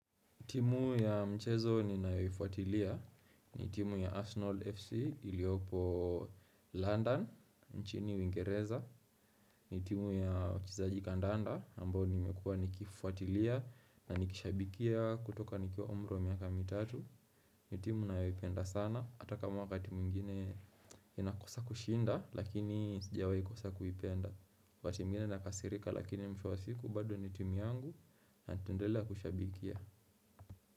Timu ya mchezo ninayoifuatilia, ni timu ya Arsenal FC iliopo London, nchini Uingereza. Ni timu ya wachezaji kandanda, ambao nimekua nikifuatilia na nikishabikia kutoka nikiwa umri miaka mitatu. Ni timu naipenda sana, hata kama wakati mwingine inakosa kushinda lakini sijawai kosa kuipenda. Wakati mwingine nakasirika lakini mwisho wa bado ni timu yangu na tutaendelea kushabikia.